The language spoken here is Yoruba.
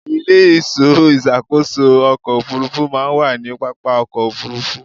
Ilé-ìṣọ́ ìṣàkóso ọkọ̀ Òfurufú máa ń wà ní pápá ọkọ̀ Òfurufú.